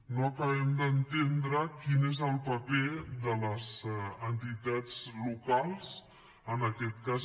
no acabem d’entendre quin és el paper de les entitats locals en aquest cas